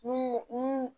Ni ni